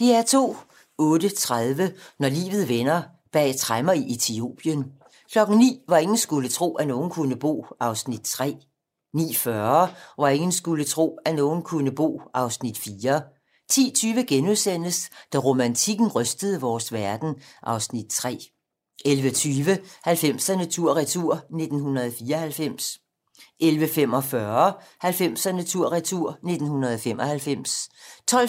08:30: Når livet vender: Bag tremmer i Etiopien 09:00: Hvor ingen skulle tro, at nogen kunne bo (Afs. 3) 09:40: Hvor ingen skulle tro, at nogen kunne bo (Afs. 4) 10:20: Da romantikken rystede vores verden (Afs. 3)* 11:20: 90'erne tur-retur: 1994 11:45: 90'erne tur-retur: 1995 12:15: